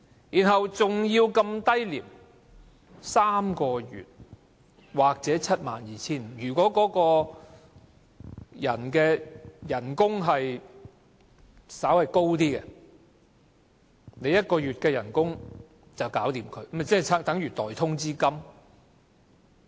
代價還要那麼低 ，3 個月薪酬或 72,500 元，如果該僱員的月薪稍高，用1個月薪酬便能解決他，豈非等於代通知金？